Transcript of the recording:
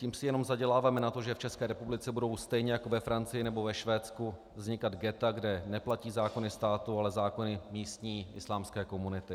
Tím si jenom zaděláváme na to, že v České republice budou stejně jako ve Francii nebo ve Švédsku vznikat ghetta, kde neplatí zákony státu, ale zákony místní islámské komunity.